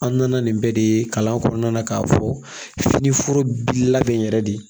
An nana nin bɛɛ de ye kalan kɔnɔna na k'a fɔ finiforo bi labɛn yɛrɛ de